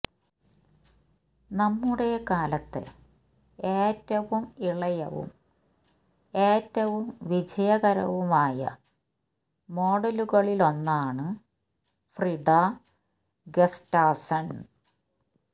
നമ്മുടെ കാലത്തെ ഏറ്റവും ഇളയവും ഏറ്റവും വിജയകരവുമായ മോഡലുകളിലൊന്നാണ് ഫ്രിഡാ ഗസ്റ്റാസ്സൺ